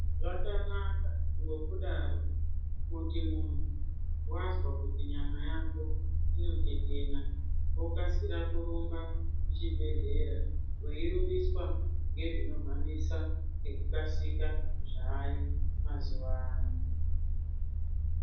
Zvakanaka ngokudaro kuti muntu wazwa kuti nyama yako inotetena wokasira kurumba kuchibhehlera weirumbiswa ngezvinokasika zvaayo mazuwano.